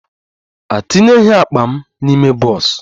A etinyeghi akpa m n'ime bọs